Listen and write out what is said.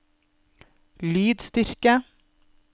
lydstyrke